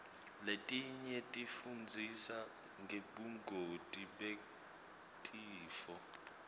letinye tifundzisa ngebungoti betifo